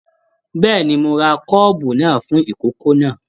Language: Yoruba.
Bẹ́ẹ̀ni, mo rà kọ́ọ́bú náà fún ikòkò náà.